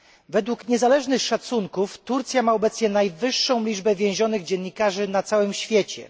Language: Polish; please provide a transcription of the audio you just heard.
Według niezależnych szacunków Turcja ma obecnie najwyższą liczbę więzionych dziennikarzy na całym świecie.